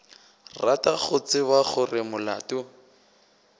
rata go tseba gore molato